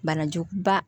Banajugu ba